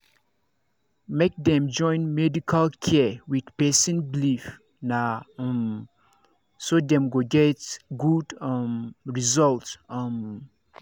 make dem join medical care with person believe na um so dem go get good um result. um